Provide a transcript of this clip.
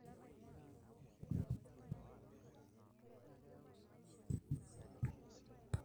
nkesa ilpaek o oloikembe eton aa lekule, meeta haja peyie iponiki esukari/malasini